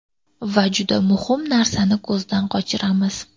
Va juda muhim narsani ko‘zdan qochiramiz!